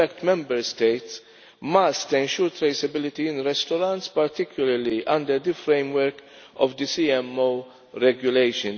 In fact Member States must ensure traceability in restaurants, particularly under the framework of the CMO Regulation.